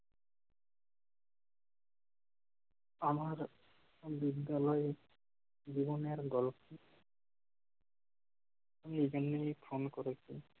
আমার বিদ্যালয় জীবনের গল্প যিনি ফোন করেছেন